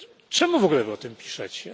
Czemu wy w ogóle o tym piszecie?